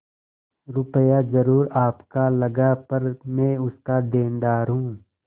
रुपया जरुर आपका लगा पर मैं उसका देनदार हूँ